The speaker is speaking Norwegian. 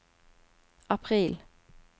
april